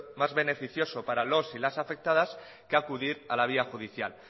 más beneficioso para los y las afectadas que acudir a la vía judicial